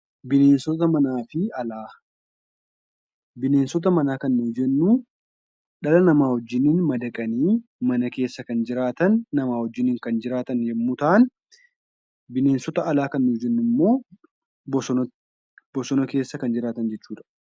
Bineensota manaa kan jennu dhala namaa wajjin madaqanii mana keessa namaa wajjin kan jiraatan yommuu ta'an, bineensota alaa kan jennu immoo bosona keessa kan jiraatan jechuudha.